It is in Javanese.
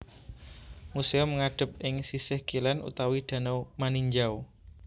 Museum ngadhep ing sisih kilén utawi danau Maninjau